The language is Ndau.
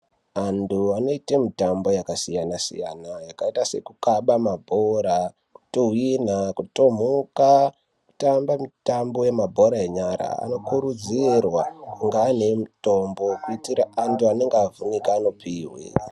Vantu vanoite mitambo yakasiyana-siyana yakaita sekukaba mabhora, kutuhwina, kutomhoka, kutamba mutambo wemabhora enyara anokurudzirwa ngevantu vemitombo kuitira antu anenge avhunika anopihwe.